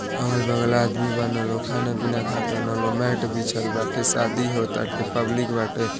अगल बगल आदमी बान लोग खाना पीना खा तान लोग मैट बिछल बाटे शादी हो ताटे पब्लिक बाटे |